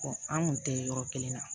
an kun tɛ yɔrɔ kelen na